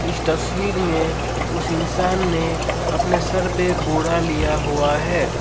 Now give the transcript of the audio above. इस तस्वीर में उस इंसान ने अपने सर पे बोरा लिया हुआ है।